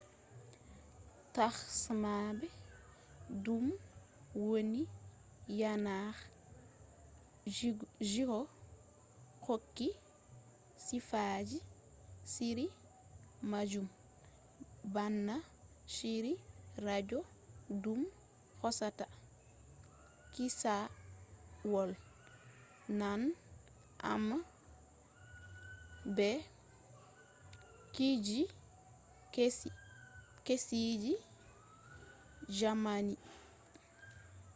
tasha mabbe dum woni yanar gizo hokki sifaaji shiri majum bana shiri radio dum hosata kissawol nanne amma be kujeji kesi je jamanu!